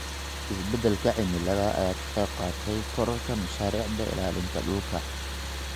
Isbeddelka cimilada ayaa ka qayb qaatay kororka mashaariicda ilaalinta dhulka.